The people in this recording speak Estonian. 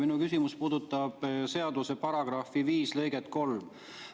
Minu küsimus puudutab seaduse § 5 lõiget 3.